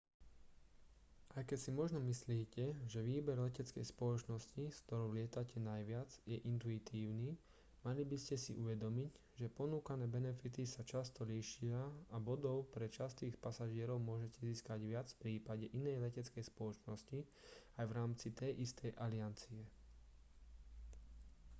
aj keď si možno myslíte že výber leteckej spoločnosti s ktorou lietate najviac je intuitívny mali by ste si uvedomiť že ponúkané benefity sa často líšia a bodov pre častých pasažierov môžete získať viac v prípade inej leteckej spoločnosti aj v rámci tej istej aliancie